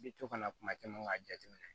I bɛ to kana kuma caman k'a jateminɛ